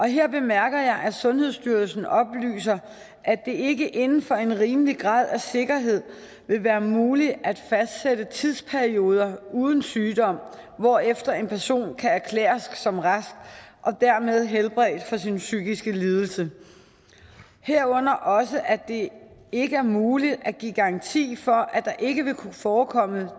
her bemærker jeg at sundhedsstyrelsen oplyser at det ikke inden for en rimelig grad af sikkerhed vil være muligt at fastsætte tidsperioder uden sygdom hvorefter en person kan erklæres som rask og dermed helbredt for sin psykiske lidelse herunder også at det ikke er muligt at give garanti for at der ikke vil kunne forekomme